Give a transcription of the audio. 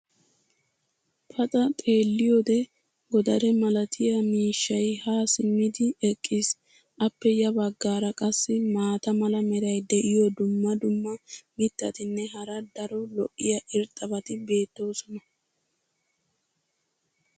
paxa xeeliyoode godare malattiya miishshay haa simmidi eqqiis. appe ya bagaara qassi maata mala meray diyo dumma dumma mitatinne hara daro lo'iya irxxabati beetoosona.